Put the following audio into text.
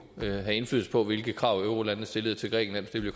have indflydelse på hvilke krav eurolandene stillede til grækenland